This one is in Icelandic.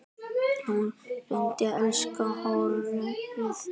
En hún reyndi, elsku hróið.